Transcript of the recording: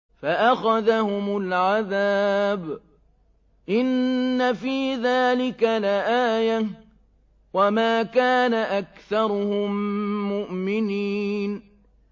فَأَخَذَهُمُ الْعَذَابُ ۗ إِنَّ فِي ذَٰلِكَ لَآيَةً ۖ وَمَا كَانَ أَكْثَرُهُم مُّؤْمِنِينَ